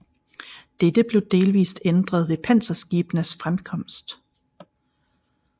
Dette blev delvist ændret ved panserskibenes fremkomst